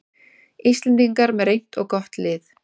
Íslendingar með reynt og gott lið